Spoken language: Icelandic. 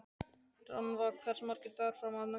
Rannva, hversu margir dagar fram að næsta fríi?